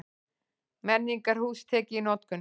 Menningarhús tekið í notkun